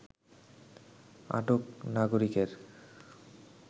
আটক নাগরিকের